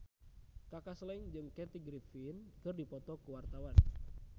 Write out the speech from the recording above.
Kaka Slank jeung Kathy Griffin keur dipoto ku wartawan